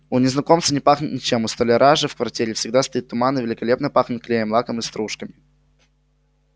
у незнакомца не пахнет ничем у столяра же в квартире всегда стоит туман и великолепно пахнет клеем лаком и стружками